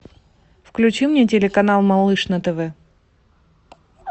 включи мне телеканал малыш на тв